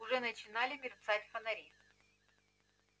уже начинали мерцать фонари